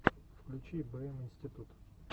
включи бэ эм институт